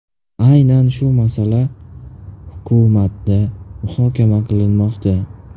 Aynan shu masala hukumatda muhokama qilinmoqda”.